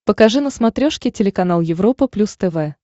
покажи на смотрешке телеканал европа плюс тв